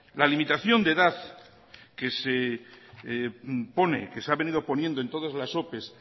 la limitación de edad que se pone que se ha venido poniendo en todas las ope